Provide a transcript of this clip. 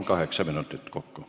Kaheksa minutit kokku.